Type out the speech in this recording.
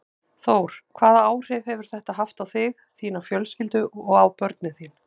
Þór: Hvaða áhrif hefur þetta haft á þig, þína fjölskyldu og á börnin þín?